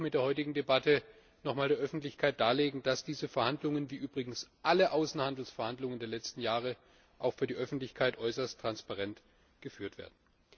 Wir wollen mit der heutigen Debatte auch noch einmal der Öffentlichkeit darlegen, dass diese Verhandlungen wie übrigens alle Außenhandelsverhandlungen der letzten Jahre auch für die Öffentlichkeit äußerst transparent geführt werden.